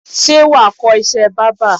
Ṣé wà̀ á kọ́ iṣẹ́ bábà?